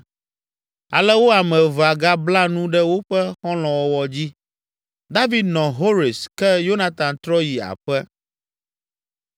Ale wo ame evea gabla nu ɖe woƒe xɔlɔ̃wɔwɔ dzi. David nɔ Hores ke Yonatan trɔ yi aƒe.